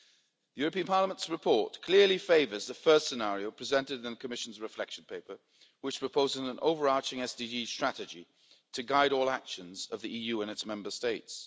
The European Parliament's report clearly favours the first scenario presented in the Commission's Reflection Paper which proposes an overarching SDG strategy to guide all actions of the EU and its Member States.